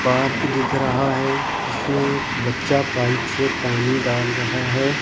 Park दिख रहा है जिसमें एक बच्चा पाइप से पानी डाल रहा है।